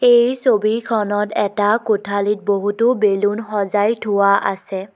এই ছবিখনত এটা কোঠালীত বহুতো বেলুন সজাই থোৱা আছে।